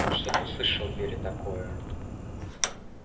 что-то услышал в вере такое